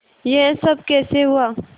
यह सब कैसे हुआ